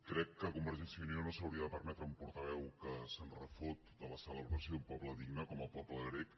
crec que convergència i unió no s’hauria de permetre un portaveu que se’n refot de la celebració d’un poble digne com el poble grec